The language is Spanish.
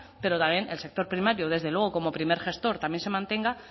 pero también el sector primaria desde luego como primer gestor también se mantenga